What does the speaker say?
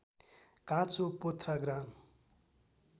काँचो पोथ्रा ग्राम